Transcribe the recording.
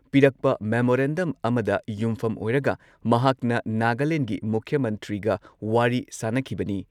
ꯄꯤꯔꯛꯄ ꯃꯦꯃꯣꯔꯦꯟꯗꯝ ꯑꯃꯗ ꯌꯨꯝꯐꯝ ꯑꯣꯏꯔꯒ ꯃꯍꯥꯛꯅ ꯅꯥꯒꯥꯂꯦꯟꯗꯒꯤ ꯃꯨꯈ꯭ꯌ ꯃꯟꯇ꯭ꯔꯤꯒ ꯋꯥꯔꯤ ꯁꯥꯟꯅꯈꯤꯕꯅꯤ ꯫